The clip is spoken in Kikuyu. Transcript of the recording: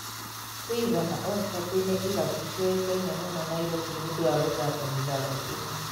Quiver na Oyster Bay nĩ irabu ciũĩkaine mũno Nairobi nĩũndũ wa gũthaka mĩthako ĩno.